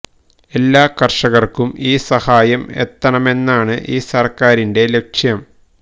എല്ലാ കര്ഷകര്ക്കും ഈ സഹായം എത്തണമെന്നതാണ് ഈ സര്ക്കാരിന്റെ ലക്ഷ്യം